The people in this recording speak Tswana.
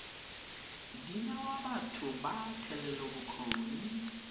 di newa batho ba thetelelobokgoni